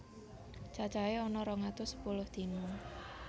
Cacahé ana rong atus sepuluh dina